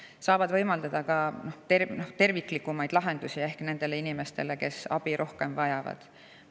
Nad saavad võimaldada ka terviklikumaid lahendusi nendele inimestele, kes rohkem abi vajavad.